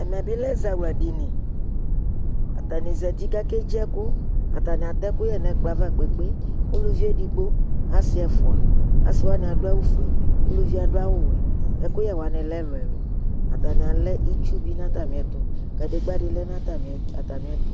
ɛmɛ bi lɛ ɛzawla dini kʋ atanizati kʋ akɛ dzi ɛkʋ ,ataniatɛ ɛkʋyɛ nʋɛkplɔɛ aɣa kpekpekpe, ʋlʋvi ɛdigbɔ asii ɛƒʋa, asii wani adʋ awʋ ƒʋɛ ʋlʋviɛ adʋ awʋ wɛ, ɛkʋyɛ wani lɛ ɛlʋɛlʋ ,atani alɛ itsʋ bi nʋ atami ɛtʋ kʋ kadigba di lɛnʋ atami ɛtʋ,